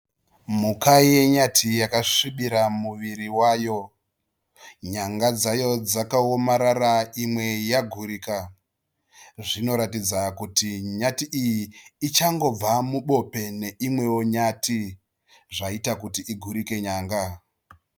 Mhuka yenyati yakasvibira muviri wayo. Nyanga dzayo dzakaomarara imwe yagurika zvinoratidza kuti nyati iyi ichangobva mubope neimwewo nyati zvaita kuti igurike nyanga.